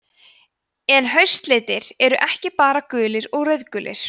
en haustlitir eru ekki bara gulir og rauðgulir